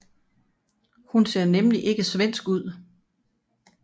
Hun ser nemlig ikke svensk ud